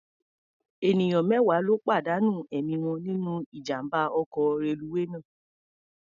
Ènìyàn mẹ́wàá ló pàdánù ẹ̀mí wọn nínú ijàm̀bá ọkọ̀ reluwé náà.